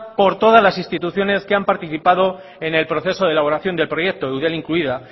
por todas las instituciones que han participado en el proceso de elaboración del proyecto eudel incluida